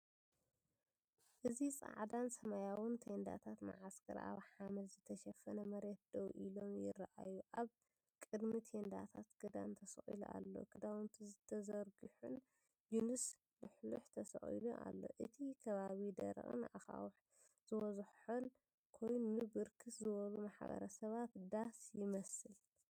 እዚ ጻዕዳን ሰማያውን ቴንዳታት መዓስከር ኣብ ሓመድ ዝተሸፈነ መሬት ደው ኢሎም ይረኣዩ። ኣብ ቅድሚ ቴንዳታት ክዳን ተሰቒሉ ኣሎ፣ ክዳውንቲ ተዘርጊሑን ጂንስ ልሕሉሕ ተሰቒሉ ኣሎ። እቲ ኸባቢ ደረቕን ኣኻውሕ ዝበዝሖን ኮይኑ፡ ብርክት ዝበሉ ማሕበረሰባት ዳስ ይመስል።